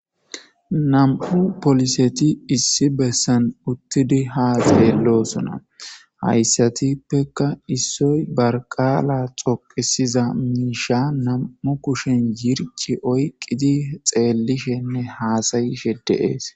Nam'u poliset issi besan utid , haydatuppeka issoy barika'a dhoqisiz miisha nam'u kushen yirci oykid xelishene hasa'ishe de'es